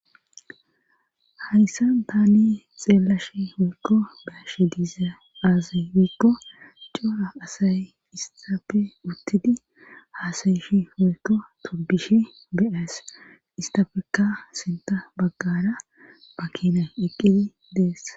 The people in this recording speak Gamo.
hayssa tani xeelashe woykko beashe dizay aaze giikko coora asay istappe uttidi haasayishi woyko tubbishe be aas istafeka sinta baggara makinay eqqidi dees